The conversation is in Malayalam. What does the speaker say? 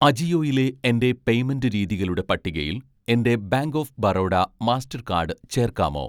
അജിയോയിലെ എൻ്റെ പേയ്‌മെൻ്റ് രീതികളുടെ പട്ടികയിൽ എൻ്റെ ബാങ്ക് ഓഫ് ബറോഡ മാസ്റ്റർകാർഡ് ചേർക്കാമോ?